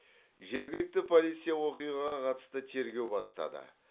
жергілікті полиция оқиғаға қатысты тергеу бастады